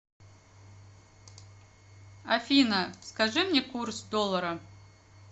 афина скажи мне курс доллара